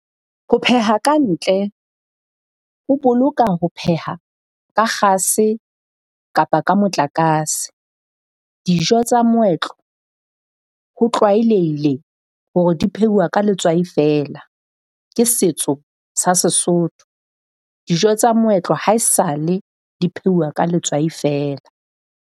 Ho pheha ka ntle ho boloka ho pheha ka kgase kapa ka motlakase. Dijo tsa moetlo ho tlwaelehile hore di pheuwa ka letswai feela. Ke setso sa Sesotho. Dijo tsa moetlo ha e sale di pheuwa ka letswai feela.